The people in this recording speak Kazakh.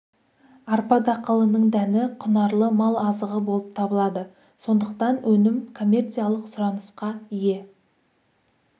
арпа дақылының дәні құнарлы мал азығы болып табылады сондықтан өнім коммерциялық сұранысқа ие